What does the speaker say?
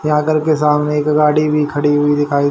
यहां घर के सामने एक गाड़ी भी खड़ी हुई दिखाई--